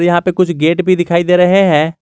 यहां पे कुछ गेट दिखाई दे रहे हैं।